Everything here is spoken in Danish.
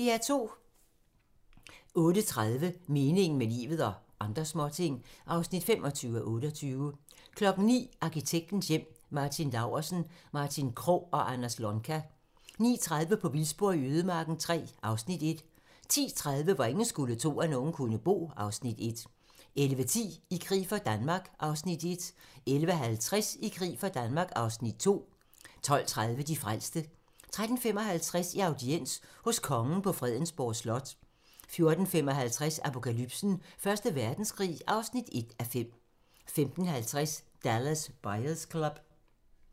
08:30: Meningen med livet - og andre småting (25:28) 09:00: Arkitektens hjem: Martin Laursen, Martin Krogh og Anders Lonka 09:30: På vildspor i ødemarken III (Afs. 1) 10:30: Hvor ingen skulle tro, at nogen kunne bo (Afs. 1) 11:10: I krig for Danmark (Afs. 1) 11:50: I krig for Danmark (Afs. 2) 12:30: De frelste 13:55: I audiens hos Kongen på Frederiksborg Slot 14:55: Apokalypsen: Første Verdenskrig (1:5) 15:50: Dallas Buyers Club